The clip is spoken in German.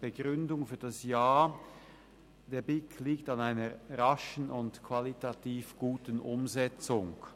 Begründung für das Ja: Der BiK liegt an einer raschen und qualitativ guten Umsetzung.